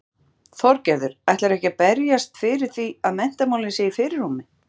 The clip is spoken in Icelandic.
Sindri: Þorgerður, ætlarðu ekki að berjast fyrir því að menntamálin séu í fyrirrúmi?